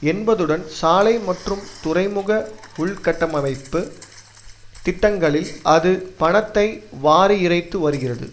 என்பதுடன் சாலை மற்றும் துறைமுக உள்கட்டவமைப்பு திட்டங்களில் அது பணத்தை வாரியிறைத்து வருகிறது